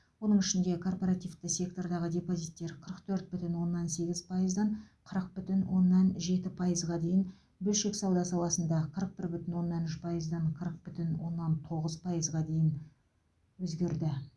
оның ішінде корпоративті сектордағы депозиттер қырық төрт бүтін оннан сегіз пайыздан қырық бүтін оннан жеті пайызға дейін бөлшек сауда саласында қырық бір бүтін оннан үш пайыздан қырық бүтін оннан тоғыз пайызға дейін өзгерді